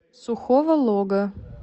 сухого лога